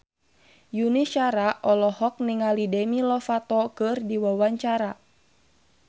Yuni Shara olohok ningali Demi Lovato keur diwawancara